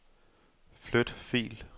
Flyt fil.